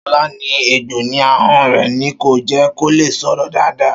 Ṣọlá ní egbò ní ahọ́n rẹ̀ ni kò jẹ́ kó lè sọ̀rọ̀ dáadáa